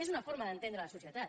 és una forma d’entendre la societat